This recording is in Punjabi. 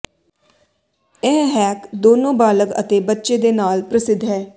ਇਹ ਹੈਕ ਦੋਨੋ ਬਾਲਗ ਅਤੇ ਬੱਚੇ ਦੇ ਨਾਲ ਪ੍ਰਸਿੱਧ ਹੈ